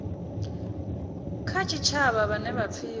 kha tshitshavha vhane vha pfiwa